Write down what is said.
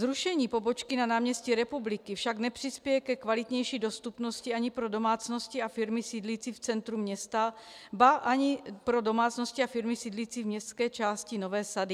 Zrušení pobočky na náměstí Republiky však nepřispěje ke kvalitnější dostupnosti ani pro domácnosti a firmy sídlící v centru města, ba ani pro domácnosti a firmy sídlící v městské části Nové sady.